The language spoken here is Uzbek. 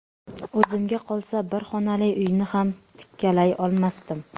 O‘zimga qolsa bir xonali uyni ham tikkalay olmasdim.